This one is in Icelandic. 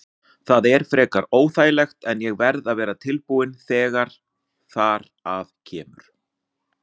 Það er frekar óþægilegt en ég verð að vera tilbúinn þegar þar að kemur.